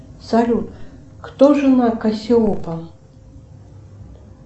салют кто жена кассиопа